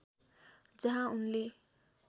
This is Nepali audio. जहाँ उनले